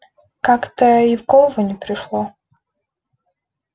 как-то и в голову не пришло